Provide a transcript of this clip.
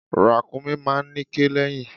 Ràkúnmí máa ń níké lẹ́yìn.